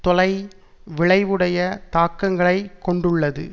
தொலை விளைவுடைய தாக்கங்களை கொண்டுள்ளது